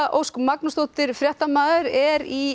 Ósk Magnúsdóttir fréttamaður er í